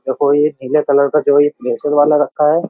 देखो ये नीले कलर का जो ये प्रेशर वाला रखा है।